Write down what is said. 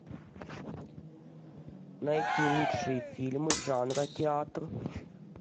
найти лучшие фильмы жанра театр